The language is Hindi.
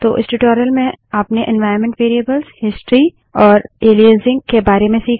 तो इस ट्यूटोरियल में आपने एन्वाइरन्मन्ट वेरिएबल्स हिस्ट्री और एलाइजिंग के बारे में सीखा